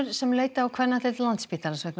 sem leita á kvennadeild Landspítalans vegna